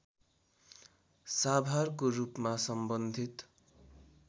साभारको रूपमा सम्बन्धित